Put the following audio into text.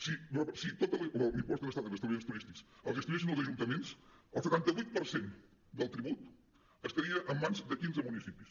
si tot l’impost d’estades en establiments turístics el gestionessin els ajuntaments el setanta vuit per cent del tribut estaria en mans de quinze municipis